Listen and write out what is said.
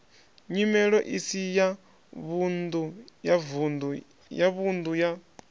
nyimelo isi ya vhunḓu ya